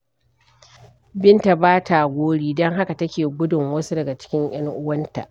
Binta ba ta gori, don haka take gudun wasu daga cikin 'yan uwanta.